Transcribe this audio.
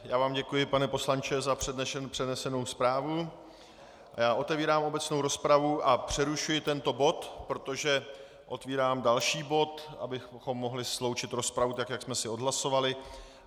Já vám děkuji, pane poslanče, za přednesenou zprávu a otevírám obecnou rozpravu a přerušuji tento bod, protože otevírám další bod, abychom mohli sloučit rozpravu, tak jak jsme si odhlasovali.